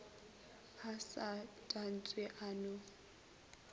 a sa tantshe a no